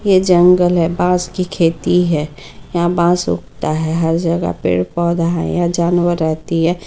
यह जंगल है बाँस की खेती है यह यहाँ बाँस उगता है हर जगह पेड़ पौधा है यहां जानवर रहती है।